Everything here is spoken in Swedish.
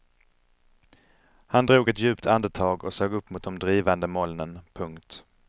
Han drog ett djupt andetag och såg upp mot de drivande molnen. punkt